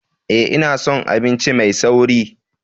Ee, ina son abinci mai sauri.